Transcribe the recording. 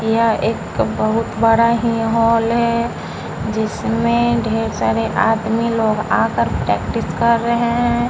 यह एक बहुत बड़ा ही हॉल है जिसमें ढेर सारे आदमी लोग आकर प्रैक्टिस कर रहे हैं.